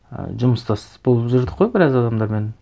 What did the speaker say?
ы жұмыстас болып жүрдік қой біраз адамдармен